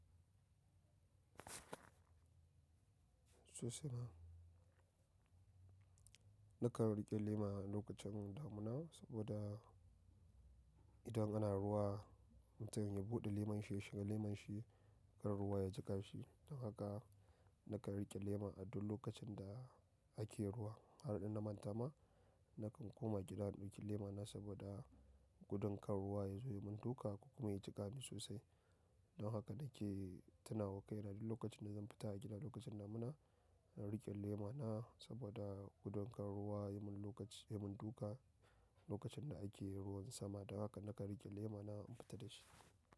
Sosai ma. Nakan riƙe lema a lokacin damina saboda idan ana ruwa mutum ya buɗe leman shi ya shiga leman shi, ƙar ruwa ya jiƙa shi. Don haka nakan riƙe lema a duk lokacin da ake ruwa. Har in na manta ma, nakan koma gida in ɗauki lema na saboda gudun ƙarar ruwa ya zo ya mun duka kuma ya jiƙa ni sosai. Dan haka nake tunawa ƙaina duk lokacin da zan fita a gida lokacin damuna, in riƙe laima na saboda gudun ƙar ruwa ya mun duka lokacin da ake ruwan sama. Don haka nakan riƙe lemon na in fita da shi.